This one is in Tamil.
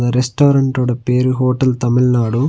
ரெஸ்டாரன்ட் ஓட பேரு ஹோட்டல் தமிழ்நாடு .